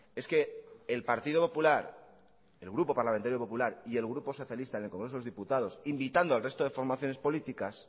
es que el partido popular el grupo parlamentario popular y el grupo socialista en el congreso de los diputados invitando al resto de formaciones políticas